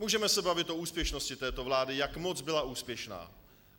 Můžeme se bavit o úspěšnosti této vlády, jak moc byla úspěšná.